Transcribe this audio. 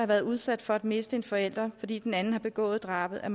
været udsat for at miste en forælder fordi den anden har begået et drab er